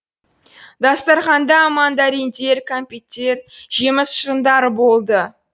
дастарханда мандариндер кәмпиттен жеміс шырындары болды